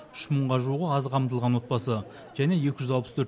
үш мыңға жуығы аз қамтылған отбасы және екі жүз алпыс төрт